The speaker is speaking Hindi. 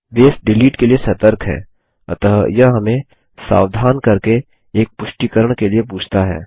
बेस डिलीट के लिए सतर्क है अतः यह हमें सावधान करके एक पुष्टीकरण के लिए पूछता है